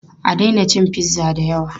A daina cin pizza da yawa!